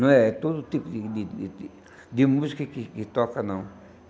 Não é todo tipo de de de de de música que que toca, não.